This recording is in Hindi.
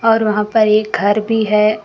और वहां पर एक घर भी है।